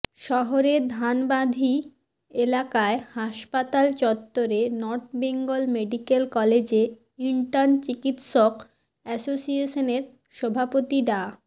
শহরের ধানবান্ধি এলাকায় হাসপাতাল চত্বরে নর্থ বেঙ্গল মেডিকেল কলেজে ইন্টার্ন চিকিৎসক অ্যাসোসিয়েশনের সভাপতি ডা